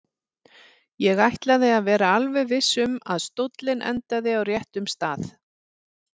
Ég ætlaði að vera alveg viss um að stóllinn endaði á réttum stað.